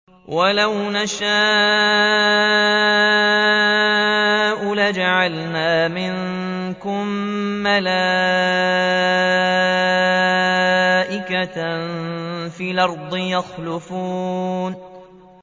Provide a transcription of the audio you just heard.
وَلَوْ نَشَاءُ لَجَعَلْنَا مِنكُم مَّلَائِكَةً فِي الْأَرْضِ يَخْلُفُونَ